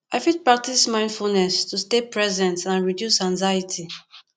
i fit practice mindfulness to stay present and reduce anxiety